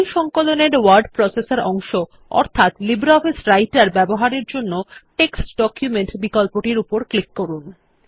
এই সংকলন এর ওয়ার্ড প্রসেসর অংশ অর্থাৎ লিব্রিঅফিস রাইটের ব্যবহারের জন্য টেক্সট ডকুমেন্ট বিকল্পটির উপর ক্লিক করুন